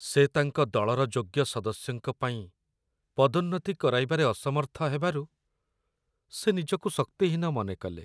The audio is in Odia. ସେ ତାଙ୍କ ଦଳର ଯୋଗ୍ୟ ସଦସ୍ୟଙ୍କ ପାଇଁ ପଦୋନ୍ନତି କରାଇବାରେ ଅସମର୍ଥ ହେବାରୁ, ସେ ନିଜକୁ ଶକ୍ତିହୀନ ମନେ କଲେ।